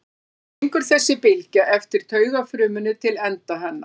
Svona gengur þessi bylgja eftir taugafrumunni til enda hennar.